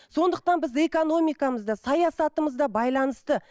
сондықтан біз экономикамыз да саясатымыз да байланысты